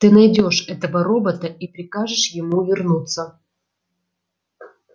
ты найдёшь этого робота и прикажешь ему вернуться